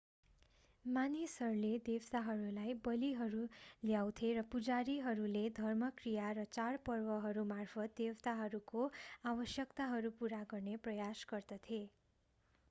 मानिसहरूले देवताहरूलाई बलिहरू ल्याउँथे र पुजारीहरूले धर्मक्रिया र चाडपर्वहरूमार्फत् देवताहरूको आवश्यकताहरू पूरा गर्ने प्रयास गर्दथे